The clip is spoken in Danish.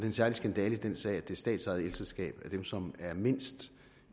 en særlig skandale i den sag at det statsejede elselskab er dem som er mindst